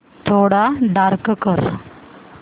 थोडा डार्क कर